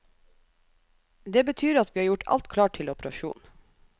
Det betyr at vi har gjort alt klart til operasjon.